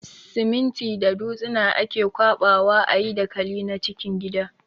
Siminti da dutsina ake ƙwaɓa wa a yi dakali na cikin gida.